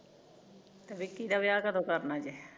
ਤੇ ਵਿਕੀ ਦਾ ਵਿਆਹ ਕਦੋਂ ਕਰਨਾ ਜੇ